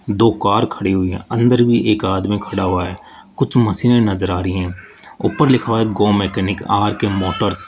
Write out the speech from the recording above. दो कार खड़ी हुई हैं अंदर भी एक आदमी खड़ा हुआ है कुछ मशीनें नजर आ रही हैं ऊपर लिखा है गो मैकेनिक आर_के मोटर्स --